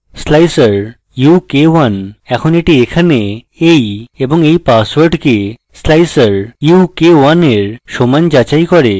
slicer u k 1 এখন এটি এখানে এই এবং এই পাসওয়ার্ডকে slicer u k1 এর সমান যাচাই করে